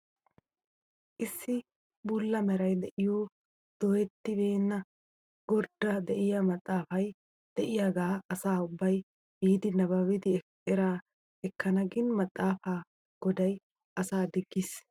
Issi bulla meray de'iyoo doyettibeenna gordda de'iyaa maxaafay de'iyaagaa asa ubbay biidi nababidi eraa ekkana gin maxaafaa goday asaa diggiis!